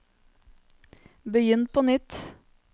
begynn på nytt